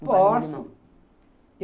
Posso...